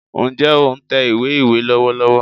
N jẹ́ o n tẹ ìwé ìwé lọ́wọ́lọ́wọ́